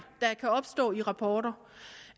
der kan opstå i rapporter